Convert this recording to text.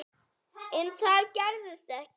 En það gerðist ekki.